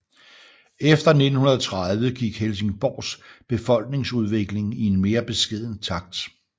Efter 1930 gik Helsingborgs befolkningsudvikling i en mere beskeden takt